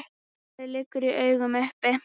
Svarið liggur í augum uppi.